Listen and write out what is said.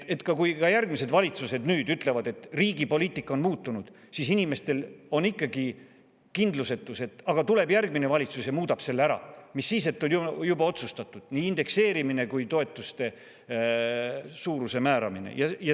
Kui ka järgmised valitsused nüüd ütlevad, et riigi poliitika on muutunud, siis inimestel on ikkagi kindlusetus: aga kui tuleb järgmine valitsus ja muudab selle ära, mis siis, et on juba otsustatud nii indekseerimine kui toetuste suuruse määramine?